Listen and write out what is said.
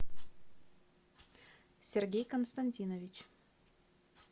сергей константинович